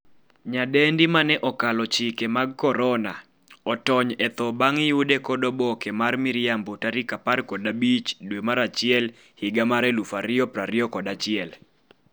nyadendi mane 'okalo chike mag korona' otony e tho bang' yude kod oboke mar miriambo tarik 15 dwe mar achiel higa mar 2021